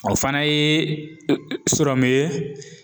O fana ye sɔrɔmu ye